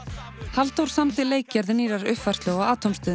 Halldór samdi leikgerð nýrrar uppfærslu á